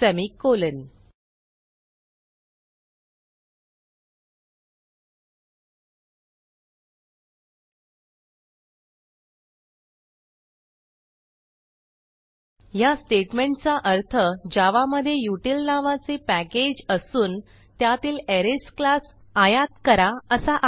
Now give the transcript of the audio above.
semicolon ह्या स्टेटमेंटचा अर्थ जावा मधे उतील नावाचे पॅकेज असून त्यातील अरेज क्लास आयात करा असा आहे